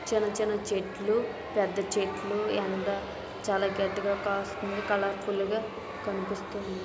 పెద్ద చెట్లు ఎంత చాలా గట్టిగా కాస్తుంది కలర్ ఫుల్ గా కనిపిస్తుంది.